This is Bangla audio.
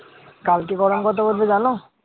কালকে গরম কত পড়েছো জানো?